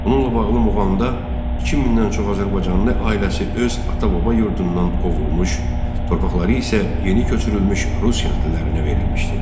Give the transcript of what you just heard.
Onunla bağlı Muğamda 2000-dən çox azərbaycanlı ailəsi öz ata-baba yurdundan qovulmuş, torpaqları isə yeni köçürülmüş rus kəndlilərinə verilmişdi.